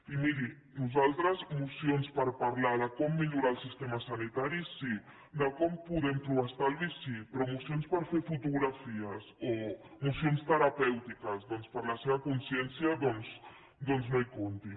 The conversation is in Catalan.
i miri nosaltres mocions per parlar de com millorar el sistema sanitari sí de com podem trobar estalvi sí però mocions per fer fotografies o mocions terapèutiques per a la seva consciència doncs no hi comptin